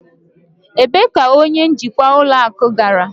Ebee ka onye njikwa ụlọ akụ gara?